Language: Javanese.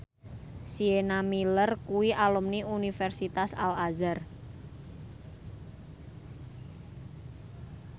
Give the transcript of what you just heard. Sienna Miller kuwi alumni Universitas Al Azhar